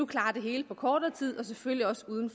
klare det hele på kortere tid og selvfølgelig også uden